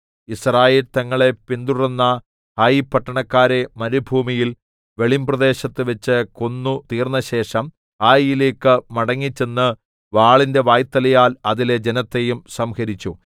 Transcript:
യിസ്രായേൽ തങ്ങളെ പിന്തുടർന്ന ഹായി പട്ടണക്കാരെ മരുഭൂമിയിൽ വെളിമ്പ്രദേശത്തുവെച്ച് കൊന്നുതീർത്തശേഷം ഹായിയിലേക്ക് മടങ്ങിച്ചെന്ന് വാളിന്റെ വായ്ത്തലയാൽ അതിലെ ജനത്തേയും സംഹരിച്ചു